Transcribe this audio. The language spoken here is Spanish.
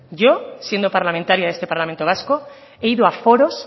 yo siendo parlamentaria de este parlamento vasco he ido a foros